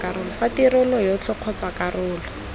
fa tirelo yotlhe kgotsa karolo